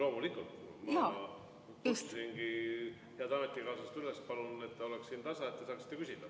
Loomulikult, ma kutsusingi head ametikaaslast üles, palun, et ta oleks siin tasa, et te saaksite küsida.